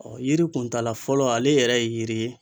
yiri kuntaala fɔlɔ ale yɛrɛ ye yiri ye